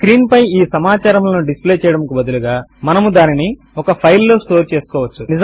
screen పై ఈ సమాచారములను డిస్ప్లే చేయడము నకు బదులుగా మనము దానిని ఒక ఫైల్ లో స్టోర్ చేసుకోవచ్చు